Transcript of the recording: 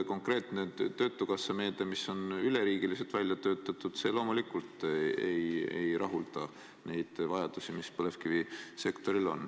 Konkreetne töötukassa meede, mis on üleriigiliselt välja töötatud, loomulikult ei rahulda neid vajadusi, mis põlevkivisektoril on.